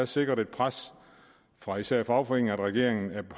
sikrede et pres fra især fagforeningerne at regeringen